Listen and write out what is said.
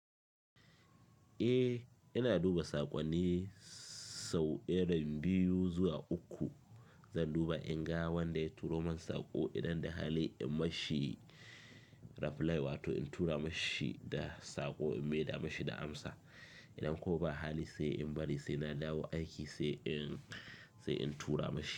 Eh, ina duba saƙonni sau irin biyu, zuwa uku. Zan duba inga wanda ya turo mani saƙo idan da hali in mashi reply wato in tura mashi da saƙo in mayar da mashi da amsa. Idan kuma ba hali sai in bari sai na dawo aiki sai in, sai in tura mashi.